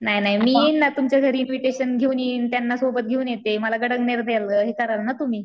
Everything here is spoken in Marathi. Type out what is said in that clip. नाय नाय मी येईन ना तुमच्या घरी इन्व्हिटेशन घेऊन येईन. त्यांना सोबत घेऊन येते. मला गडांगणेर द्याल हे कराल ना तुम्ही.